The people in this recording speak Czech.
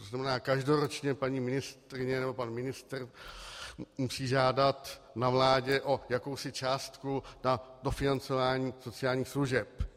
To znamená, každoročně paní ministryně nebo pan ministr musí žádat na vládě o jakousi částku na dofinancování sociálních služeb.